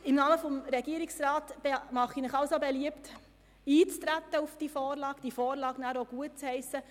Im Namen des Regierungsrats mache ich Ihnen beliebt, auf die Vorlage einzutreten und diese schliesslich gutzuheissen.